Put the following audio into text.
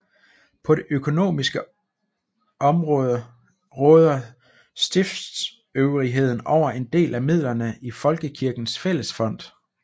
På det økonomiske område råder stiftsøvrigheden over en del af midlerne i Folkekirkens Fællesfond